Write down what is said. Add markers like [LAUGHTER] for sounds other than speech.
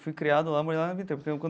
Fui criado lá, morei lá a vida inteira. [UNINTELLIGIBLE]